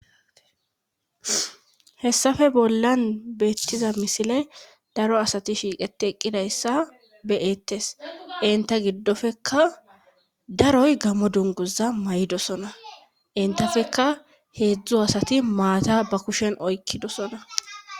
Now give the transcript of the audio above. Hessafe bollan beettiza misile daro asati shiiqeti eqqidayssa beyeettes inta giddofeka daroy gamo dunguza may7dosona intafeka heedzdzu asati maata ba kushen oykkidosona